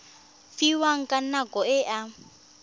fiwang ka nako e a